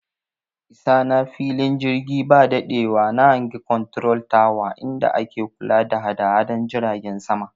I sa na fili jirgi ba daɗewa na hangi konturol tawa inda ake kula da hadahadan jiragen sama